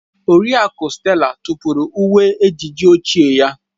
Oriakụ Stella tụpụrụ uwe ejiji ochie ya.